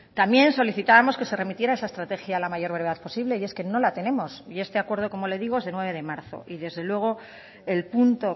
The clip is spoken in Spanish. también solicitábamos que se remitiera esa estrategia a la mayor brevedad posible y es que no la tenemos y este acuerdo como le digo es de nueve de marzo y desde luego el punto